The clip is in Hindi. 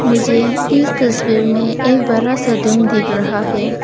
मुझे इस तस्वीर में एक बड़ा सा दिख रहा है।